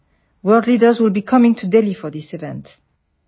world leaders would be coming to Delhi for this event